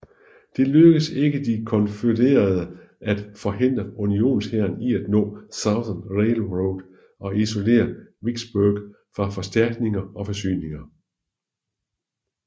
Det lykkedes ikke de konfødererede at forhindre unionshæren i at nå Southern Railroad og isolere Vicksburg fra forstærkninger og forsyninger